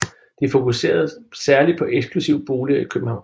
De fokuserede særligt på eksklusive boliger i København